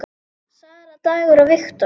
Sara, Dagur og Victor.